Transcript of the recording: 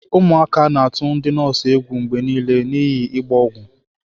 Ụmụaka na-atụ ndi nọọsụ egwu mgbe niile n'ihi ịgba ọgwụ.